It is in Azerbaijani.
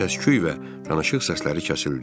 Səsküy və danışıq səsləri kəsildi.